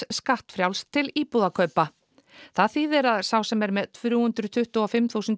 skattfrjálst til íbúðakaupa það þýðir að sá sem er með þrjú hundruð tuttugu og fimm þúsund